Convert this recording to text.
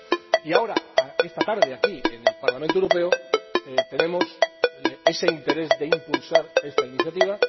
y ahora esta tarde aquí en el Parlamento Europeo, tenemos ese interés por impulsar esta iniciativa.